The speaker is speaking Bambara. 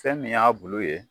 Fɛn min y'a bulu ye